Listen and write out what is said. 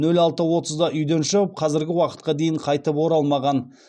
нөл алты отызда үйден шығып қазіргі уақытқа дейін қайтып оралмаған